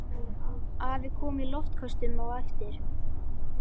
Afi kom í loftköstum á eftir.